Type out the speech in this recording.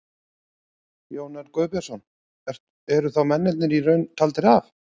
Jón Örn Guðbjartsson: Eru þá mennirnir í raun taldir af?